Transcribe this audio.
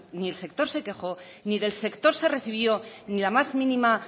ni el sector se quejó ni del sector se recibió ni la más mínima